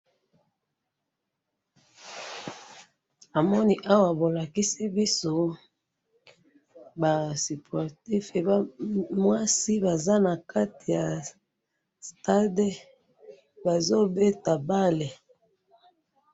namoni awa bolakisi biso ba sportif mwasi baza nakatimya stade bazo beta balle